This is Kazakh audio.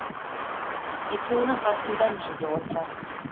екеуінің қасында мен де отырамын